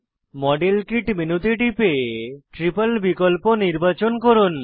model kit মেনুতে টিপে triple বিকল্প নির্বাচন করুন